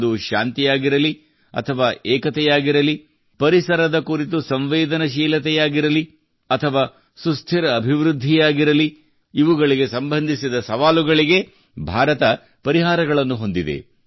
ಅದು ಶಾಂತಿಯಾಗಿರಲಿ ಅಥವಾ ಏಕತೆಯಾಗಿರಲಿ ಪರಿಸರದ ಕುರಿತು ಸಂವೇದನಶೀಲತೆಯಾಗಿರಲಿ ಅಥವಾ ಸುಸ್ಥಿರ ಅಭಿವೃದ್ಧಿಯಾಗಿರಲಿ ಇವುಗಳಿಗೆ ಸಂಬಂಧಿಸಿದ ಸವಾಲುಗಳಿಗೆ ಭಾರತ ಪರಿಹಾರಗಳನ್ನು ಹೊಂದಿದೆ